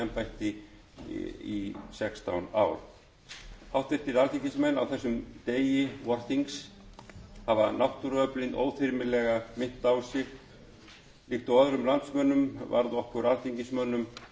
embætti í sextán ár háttvirtir alþingismenn á þessum degi vorþings hafa náttúruöflin óþyrmilega minnt á sig líkt og öðrum landsmönnum varð okkur alþingismönnum brugðið þegar